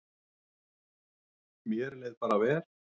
Mér leið bara vel.